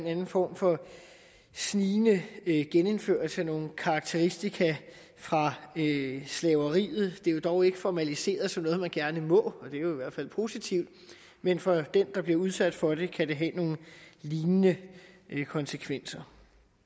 anden form for snigende genindførelse af nogle karakteristika ved slaveriet det er dog ikke formaliseret som noget man gerne må og det er jo i hvert fald positivt men for den der bliver udsat for det kan det have nogle lignende konsekvenser